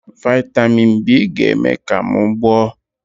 Vị́tamị́n n B ga-eme ka m gboọ́